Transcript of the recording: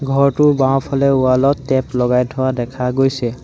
ঘৰটোৰ বাওঁফালে ৱালত টেপ লগাই থোৱা দেখা গৈছে।